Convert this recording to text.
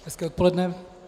Hezké odpoledne.